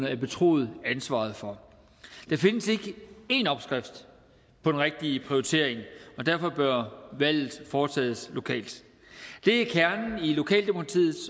er betroet ansvaret for der findes ikke én opskrift på den rigtige prioritering og derfor bør valget foretages lokalt det er kernen i lokaldemokratiet